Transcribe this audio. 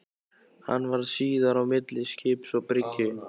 Hann varð síðar á milli skips og bryggju.